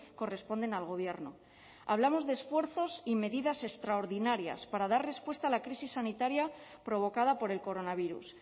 corresponden al gobierno hablamos de esfuerzos y medidas extraordinarias para dar respuesta a la crisis sanitaria provocada por el coronavirus